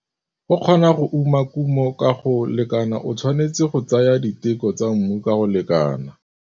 Go kgona go uma kumo ka go lekana o tshwanetse go tsaya diteko tsa mmu ka go lekana.